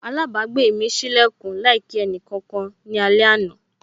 Alabagbe mi sí lekun láì kí ẹnì kankan ní alẹ àná.